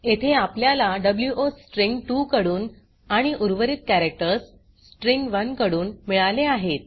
येथे आपल्याला वो स्ट्रिँग 2 कडून आणि उर्वरित कॅरेक्टर्स स्ट्रिँग 1 कडून मिळाले आहेत